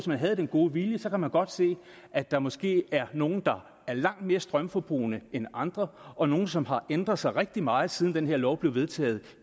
man har den gode vilje kan man godt se at der måske er nogle der er langt mere strømforbrugende end andre og nogle som har ændret sig rigtig meget siden den her lov blev vedtaget